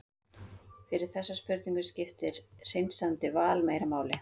fyrir þessa spurningu skiptir hreinsandi val meira máli